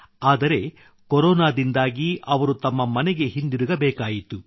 ಆದರೆ ಕೊರೊನಾದಿಂದಾಗಿ ಅವರು ತಮ್ಮ ಮನೆಗೆ ಹಿಂದಿರುಗಬೇಕಾಯಿತು